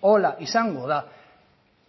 horrela izango da